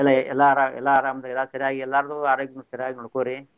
ಎಲ್ಲಾ ಅರಾ ಎಲ್ಲಾ ಅರಾಮ್ ರಿ ಎಲ್ಲಾ ಸರಿಯಾಗಿ ಎಲ್ಲಾರ್ದು ಆರೋಗ್ಯನ್ ಸರಿಯಾಗಿ ನೋಡ್ಕೊರಿ.